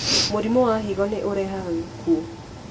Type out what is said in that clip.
Mũrimũ wa higo nĩ ũrehaga gĩkuũ.